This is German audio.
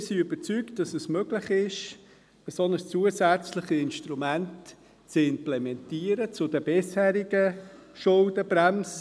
Wir sind überzeugt, dass es möglich ist, ein zusätzliches Instrument zur bisherigen Schuldenbremse zu implementieren.